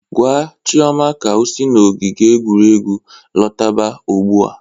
Gwa Chioma ka o si n'ogige egwuregwu lọtaba ụgbụa!